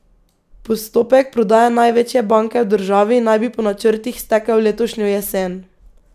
Postopek prodaje največje banke v državi naj bi po načrtih stekel letošnjo jesen.